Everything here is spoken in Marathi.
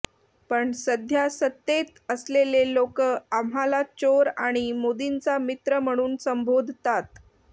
पण सध्या सत्तेत असलेले लोक आम्हाला चोर आणि मोदींचा मित्र म्हणून संबोधतात